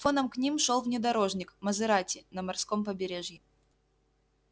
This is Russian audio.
фоном к ним шёл внедорожник мазерати на морском побережье